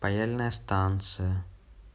паяльная станция